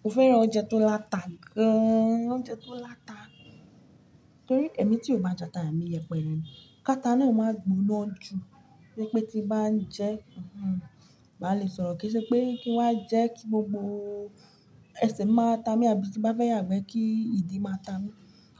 Mo fẹ́ràn oúnjẹ tó láta gan an. Oúnjẹ tó láta torí ẹ̀mí tí ò bá jata, ẹ̀mí yẹpẹrẹ ni. Kata nù e máa gbóná jù, ní pé tí bá ń jẹ, má lè sọ̀rọ̀ kí í ṣẹ pé kí wá jẹ́ kí gbogbo ẹsẹ̀ máa ta mi àbí tí bá fẹ́ yàgbẹ́ kí ìdí máa ta mi.